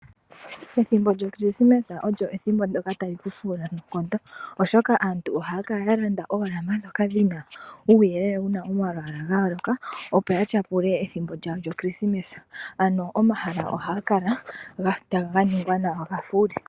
Ethimbo lyokrisimesa olyo ethimbo tali kufuula noonkondo oshoka aantu ohaya kala yalanda oolamba ndhoka dhna uyelele wuna omalwala ga yooloka opo ya tyapule ethimbo lyawo lyokrisimesa ano omahala ohaga kala ganingwa gafule.